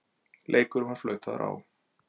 Leikurinn var flautaður á.